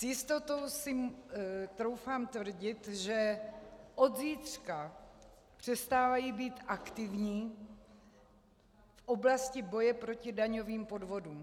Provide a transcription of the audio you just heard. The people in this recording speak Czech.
S jistotou si troufám tvrdit, že od zítřka přestávají být aktivní v oblasti boje proti daňovým podvodům.